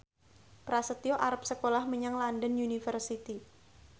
Prasetyo arep sekolah menyang London University